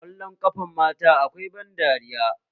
Ƙwallon ƙafan matan akwai ban dariya